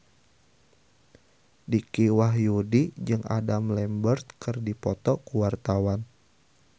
Dicky Wahyudi jeung Adam Lambert keur dipoto ku wartawan